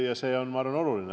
Ma arvan, et see on oluline.